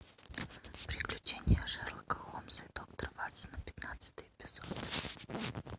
приключения шерлока холмса и доктора ватсона пятнадцатый эпизод